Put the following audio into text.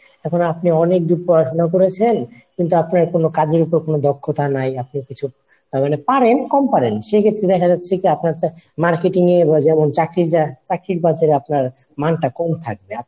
এখন আপনি অনেক দূর পড়াশুনা করেছেন কিন্তু আপনার কোনো কাজের উপর কোনো দক্ষতা নাই আপনি কিছু তারমানে পারেন কম পারেন। সেক্ষেত্রে দেখা যাচ্ছে কি আপনার Marketing এ বা যেমন চাকরির যা চাকরির বাজারে আপনার মানটা কম থাকবে।